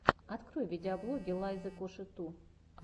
открой видеоблоги лайзы коши ту